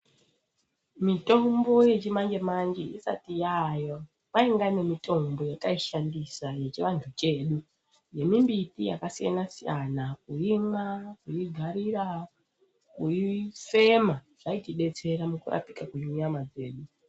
Mitombo yechimanje manje isati yaayo kwainga nemitombo yetaishandisa yechivanhu chedu, yemimbiti yakasiyana siyana, kuimwa, kuigarira, kuifema yaitidetsera mukurapika kwenyama dzedu.